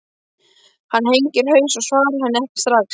Hann hengir haus og svarar henni ekki strax.